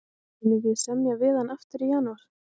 Munum við semja við hann aftur í janúar?